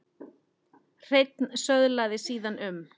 Hreinn söðlaði síðan um.